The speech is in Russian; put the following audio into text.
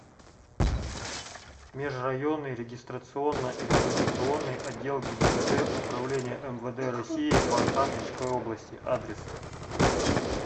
межрайонный регистрационно экзаменационный отдел гибдд управления мвд россии по архангельской области адрес